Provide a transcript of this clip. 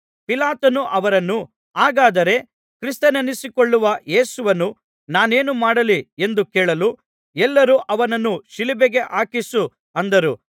ಪಿಲಾತನು ಅವರನ್ನು ಹಾಗಾದರೆ ಕ್ರಿಸ್ತನೆನ್ನಿಸಿಕೊಳ್ಳುವ ಯೇಸುವನ್ನು ನಾನೇನು ಮಾಡಲಿ ಎಂದು ಕೇಳಲು ಎಲ್ಲರೂ ಅವನನ್ನು ಶಿಲುಬೆಗೆ ಹಾಕಿಸು ಅಂದರು